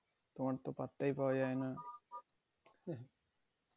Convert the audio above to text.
তোমার তো পাত্তাই পাওয়া যায়না।